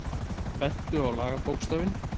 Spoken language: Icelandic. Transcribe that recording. Bentu á lagabókstafinn